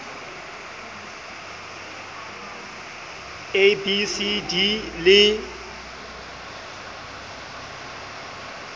a b c d le